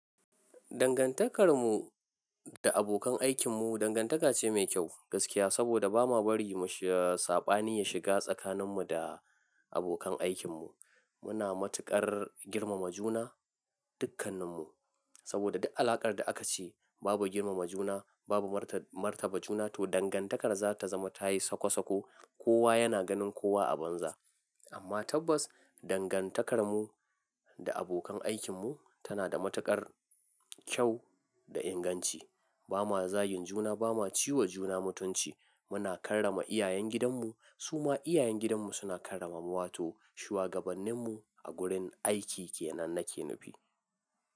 Dangantakar mu da abokan aikin mu, dangantaka ce mai kyau gaskiya. Saboda ba ma bari saɓani ya shiga tsakanin mu da abokan aikin mu. Muna matuƙar girmama juna, dukkannin mu. Saboda duk alakar da aka ci babu girmama juna, babu martaba juna, to dangantakar za ta zama ta yi sako sako. Kowa yana ganin kowa a banza. Amma tabbas dangantakar mu da abokan aikin mu tana da matuƙar kyau da inganci. Ba ma zagin juna, ba ma ciwa juna mutunci. Muna karrama iyayen gidan mu, su ma iyayen gidan mu suna karrama mu, wa to shuwagabannin mu a gurin aiki ke nan nake nufi.